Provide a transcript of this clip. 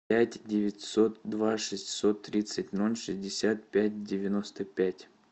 пять девятьсот два шестьсот тридцать ноль шестьдесят пять девяносто пять